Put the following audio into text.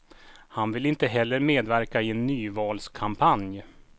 Han vill inte heller medverka i en nyvalskampanj.